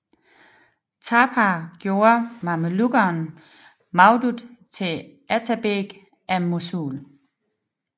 Tapar gjorde mamelukkeren Mawdud til atabeg af Mosul